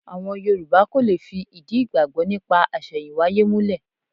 Àwọn Yorù̀bá kò lè fi ìdí ìgbàgbọ́ nípa àṣẹ̀yìnwáyé múlẹ̀.